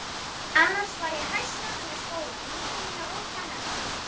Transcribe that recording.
Annars var ég hæstánægð með skólann, vinkonur mínar og kennarana.